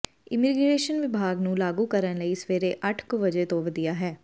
immigration ਵਿਭਾਗ ਨੂੰ ਲਾਗੂ ਕਰਨ ਲਈ ਸਵੇਰੇ ਅੱਠ ਕੁ ਵਜੇ ਤੋਂ ਵਧੀਆ ਹੈ